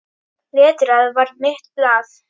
Letrað var mitt blað.